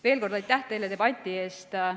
Veel kord aitäh teile debati eest!